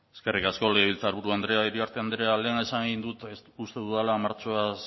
eskerrik asko legebiltzarburu andrea iriarte andrea lehen esan egin dut uste dudala martxoaz